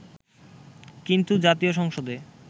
কিন্তু জাতীয় সংসদে